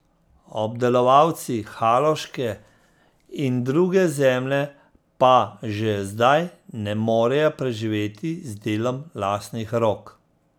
Obdelovalci haloške in druge zemlje pa že zdaj ne morejo preživeti z delom lastnih rok.